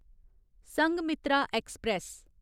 Sanghamitra express